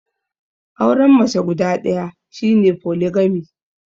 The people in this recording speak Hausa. Auren mace guda ɗaya shi ne Foligami.